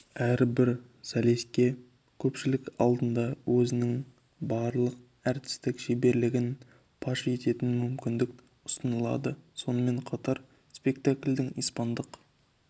әрбір солиске көпшілік алдында өзінің барлық әртістік шеберлігін паш ететін мүмкіндік ұсынылады сонымен қатар спектакльдің испандық